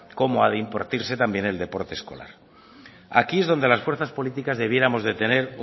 como a de impartirse también el deporte escolar aquí es donde las fuerzas políticas debiéramos de tener